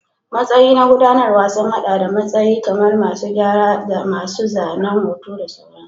Matsayi na gudanarwa sun haɗa da matsayi kamar masu gyara, masu zanen hoto da sauransu.